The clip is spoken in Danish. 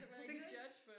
Er det ikke rigtigt?